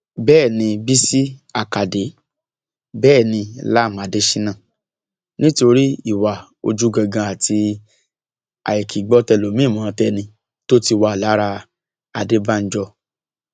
bẹẹ ni bísí àkàdé bẹẹ ni lam adésínà nítorí ìwà ojúgangan àti àìkìígbọtẹlòmíínmọtẹni tó ti wà lára adébánjọ